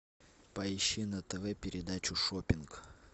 поищи на тв передачу шоппинг